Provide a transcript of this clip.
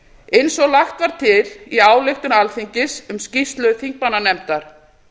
eins og lagt var til í ályktun alþingis um skýrslu þingmannanefndar